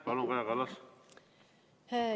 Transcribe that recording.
Palun, Kaja Kallas!